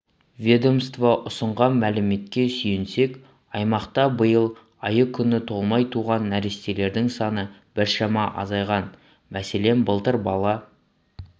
ведомство ұсынған мәліметке сүйенсек аймақта биыл айы-күні толмай туған нәрестелердің саны біршама азайған мәселен былтыр бала